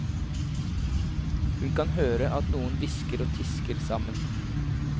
Hun kan høre at noen hvisker og tisker sammen.